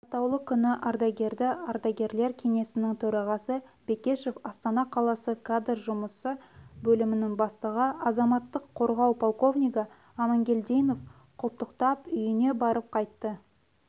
атаулы күні ардагерді ардагерлер кеңесінің төрағасы бекешев астана қаласы кадр жұмысы бөлімінің бастығы азаматтық қорғау полковнигі амангельдинов құттықтап үйіне барып қайтты